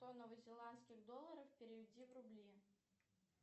сто новозеландских долларов переведи в рубли